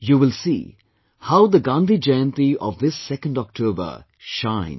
You will see how the Gandhi Jayanti of this 2nd October shines